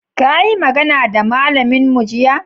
ka yi magana da malamin mu jiya?